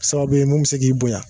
Sababu ye mun bɛ se k'i bonya